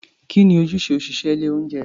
Kí ni ojúṣe òṣị̀ṣẹ́ ilé-oúnjẹ?